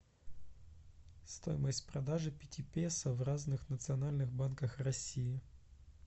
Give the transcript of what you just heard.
стоимость продажи пяти песо в разных национальных банках россии